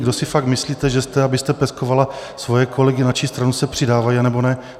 Kdo si fakt myslíte, že jste, abyste peskovala svoje kolegy, na čí stranu se přidávají anebo ne?